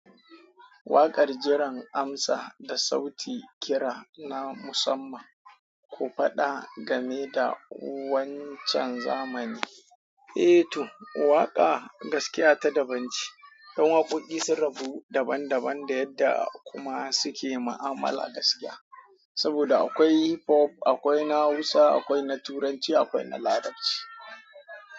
Waƙar jiran amsa da sauti kira na musamman, ku faɗa game da wancan zamani. Eh to, waƙa gaskiya ta daban ce. Don waƙoƙi sun rabu daban daban da yadda kuma suke ma'amala gaskiya. Saboda akwai hip hop, akwai na Hausa, akwai na Turanci, akwai na Larabci.